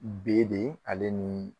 B de ale ni